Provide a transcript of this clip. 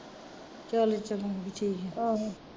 ਚੱਲ ਚੰਗ ਠੀਕ ਐ